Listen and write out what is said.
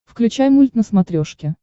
включай мульт на смотрешке